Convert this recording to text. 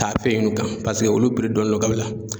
Taa fɛ yen nɔ kan paseke olu dɔnnen do kabi la